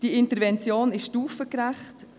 Diese Intervention ist stufengerecht.